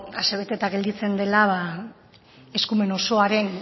asebeteta gelditzen dela eskumen osoaren